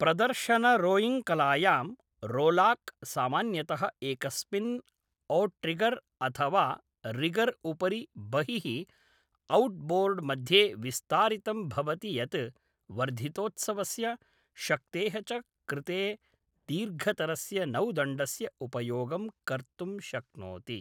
प्रदर्शनरोयिङ्ग्कलायां, rowlock सामान्यतः एकस्मिन् outrigger अथ वा रिगर् उपरि बहिः औट्बोर्ड्‍ मध्ये विस्तारितं भवति यत् वर्धितोत्सवस्य, शक्तेः च कृते दीर्घतरस्य नौदण्डस्य उपयोगं कर्तुं शक्नोति।